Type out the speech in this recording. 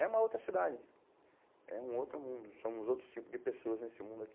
É uma outra cidade, é um outro mundo, somos outros tipos de pessoas nesse mundo aqui.